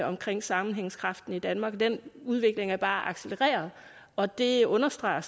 omkring sammenhængskraften i danmark den udvikling er bare accelereret og det understreger